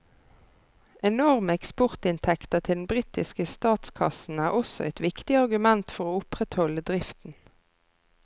Enorme eksportinntekter til den britiske statskassen er også et viktig argument for å opprettholde driften.